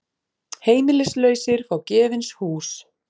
Heimilislausir fá gefins hús